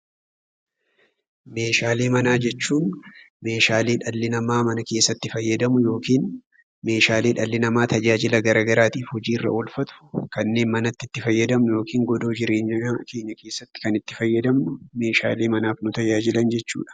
Meeshaalee manaa jechuun meeshaalee dhalli namaa mana keessatti fayyadamu yookiin meeshaalee dhalli namaa tajaajila gara garaatiif hojii irra oolfatu, kanneen manatti itti fayyadamnu yookiin godoo jireenya keeny keessatti kan itti fayyadamnuu meeshaalee manaaf nu tajaajilan jechuudha.